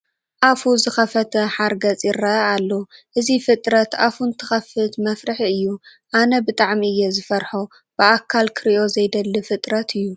ኣፉ ዝኸፈተ ሓርገፅ ይርአ ኣሎ፡፡ እዚ ፍጥረት ኣፉ እንትኸፍት መፍርሒ እዩ፡፡ ኣነ ብጣዕሚ እየ ዝፈርሖ፡፡ ብኣካል ክርእዮ ዘይደሊ ፍጥረት እዩ፡፡